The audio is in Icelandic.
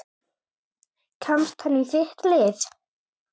Kemst hann í þitt lið?